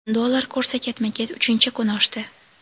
Dollar kursi ketma-ket uchinchi kun oshdi.